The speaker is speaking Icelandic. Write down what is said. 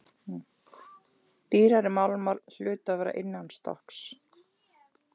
Dýrari málmar hlutu að vera innanstokks.